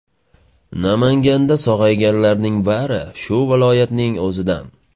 Namanganda sog‘ayganlarning bari shu viloyatning o‘zidan.